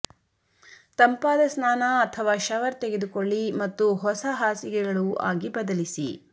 ತಂಪಾದ ಸ್ನಾನ ಅಥವಾ ಶವರ್ ತೆಗೆದುಕೊಳ್ಳಿ ಮತ್ತು ಹೊಸ ಹಾಸಿಗೆಗಳು ಆಗಿ ಬದಲಿಸಿ